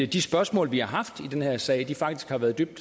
de spørgsmål vi har haft i den her sag faktisk har været dybt